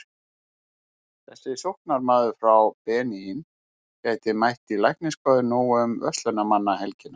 Þessi sóknarmaður frá Benín gæti mætt í læknisskoðun nú um verslunarmannahelgina.